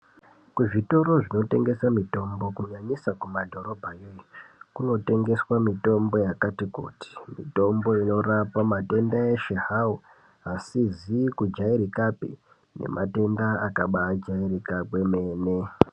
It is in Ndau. Kuzvitoro zvinotengese mitombo kunyanyisa kumadhorobha kunotengeswe mitombo yakati kuti mitombo inorapa matenda eshe zvawo asizi kujairikapi nematenda akabajairika kwemene.